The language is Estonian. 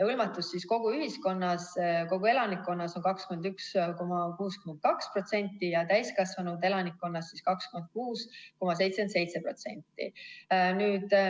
Hõlmatus kogu elanikkonnas on 21,62% ja täiskasvanud elanikkonnast 26,77%.